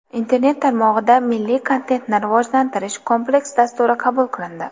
Internet tarmog‘ida milliy kontentni rivojlantirish kompleks dasturi qabul qilindi.